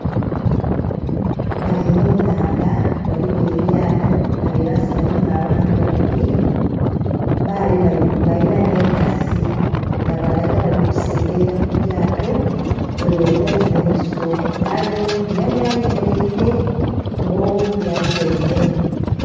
Bali mu nnhandha ghaligho elyato ghali ghansi mulimu abantu babiri balina n'enkasi nga balaga bali kuseyeya kulyato webaja mumaiso nga aye oghundhi yali ayemeraire nga oghundhi atyaime.